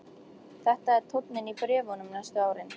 Þetta er tónninn í bréfunum næstu árin.